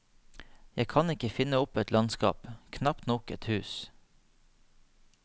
Jeg kan ikke finne opp et landskap, knapt nok et hus.